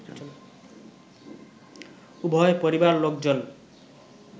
উভয় পরিবার লোকজন